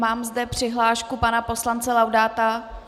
Mám zde přihlášku pana poslance Laudáta.